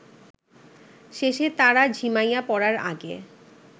শেষে তারা ঝিমাইয়া পড়ার আগে